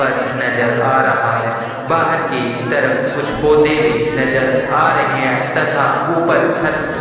फर्श नज़र आ रहा है बाहर की तरफ कुछ पौधे भी नज़र आ रहे है तथा ऊपर छत --